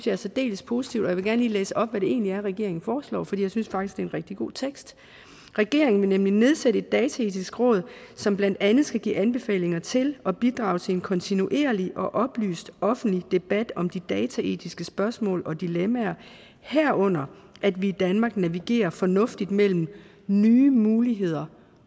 er særdeles positivt og jeg lige læse op hvad det egentlig er regeringen foreslår for jeg synes faktisk det er en rigtig god tekst regeringen vil nedsætte et dataetisk råd som blandt andet skal give anbefalinger til og bidrage til en kontinuerlig og oplyst offentlig debat om de dataetiske spørgsmål og dilemmaer herunder at vi i danmark navigerer fornuftigt mellem nye muligheder